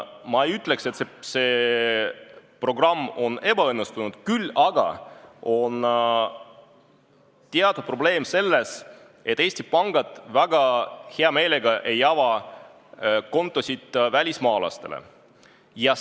Ma ei ütleks, et see programm on ebaõnnestunud, küll aga on teatud probleem selles, et Eesti pangad ei ava just väga hea meelega välismaalastele kontosid.